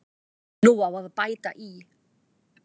Nú á að bæta í.